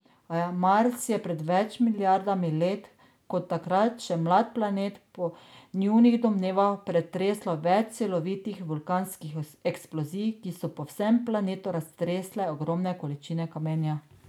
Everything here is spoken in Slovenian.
Mars je pred več milijardami let kot takrat še mlad planet po njunih domnevah pretreslo več silovitih vulkanskih eksplozij, ki so po vsem planetu raztresle ogromne količine kamenja.